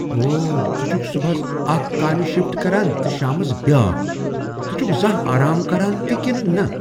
اوٚہہ! ژٕ چھکھ صبحس اکھ کامہِ شفٹ کران تہٕ شامس بیٛاکھ۔ ژٕ چھکھٕ زانٛہہ آرام کران تہ کنہٕ نہ۔